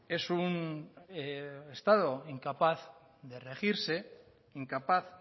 es un estado incapaz de regirse incapaz